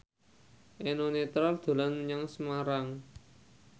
Eno Netral dolan menyang Semarang